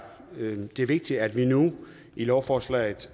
det vigtigt at vi nu i lovforslaget